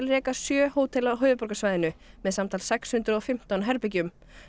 reka sjö hótel á höfuðborgarsvæðinu með samtals sex hundruð og fimmtán herbergjum